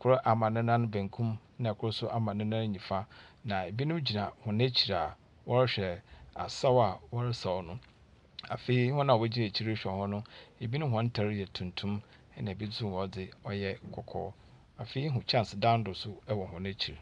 Kor a ne nan benkum, na kor nso ama ne nam nyifa, na binom gyina hɔn ekyir a wɔrehwɛ asaw a wɔresaw no. Afei hɔn a wogyina ekyire rehwɛ hɔn no, binom hɔn ntar yɛ tuntum, na bi nso hɔn dze, ɔyɛ kɔkɔɔ. Afei ihu kyɛnsedan do nso wɔ hɔn ekyir.